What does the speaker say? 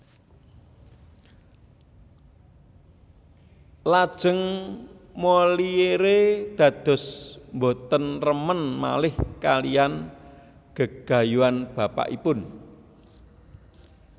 Lajeng Molière dados boten remen malih kalihan gegayuhan bapakipun